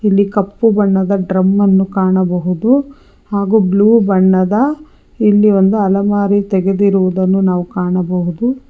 ಇಲ್ಲಿ ಕಪ್ಪು ಬಣ್ಣದ ಡ್ರಮ್ ಅನ್ನು ಕಾಣಬಹುದು ಹಾಗೂ ಬ್ಲೂ ಬಣ್ಣದ ಇಲ್ಲಿ ಒಂದು ಅಲಮಾರಿ ತೆಗೆದಿರುವದನ್ನು ಕಾಣಬಹುದು.